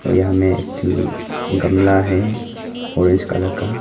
यहां में एक ठो गमला है ऑरेंज कलर का।